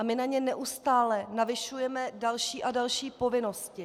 A my na ně neustále navyšujeme další a další povinnosti.